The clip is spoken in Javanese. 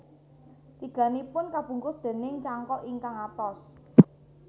Tigannipun kabungkus déning cangkok ingkang atos